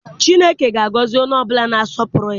Chineke ga-agọzi onye ọbụla na-asọpụrụ ya.